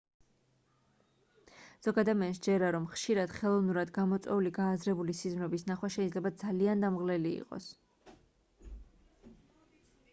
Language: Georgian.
ზოგ ადამიანს სჯერა რომ ხშირად ხელოვნურად გამოწვეული გააზრებული სიზმრების ნახვა შეიძლება ძალიან დამღლელი იყოს